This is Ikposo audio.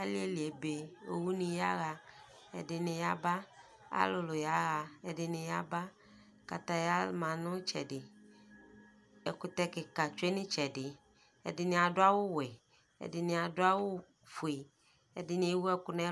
aliɛli ɛbɛ ɔwʋ ni yaha ɛdini yaba alʋlʋ yaha ɛdini yaba, kataya manʋ itsɛdi ɛkʋtɛ kikaa twɛnʋ ɛtsɛdi, ɛdini adʋ awʋ wɛ, ɛdini adʋ awʋ ƒʋɛ ɛdini ɛwu ɛkʋ nʋ